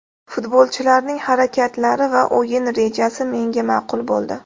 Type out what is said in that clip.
Futbolchilarning harakatlari va o‘yin rejasi menga ma’qul bo‘ldi.